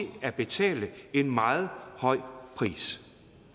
at betale en meget høj pris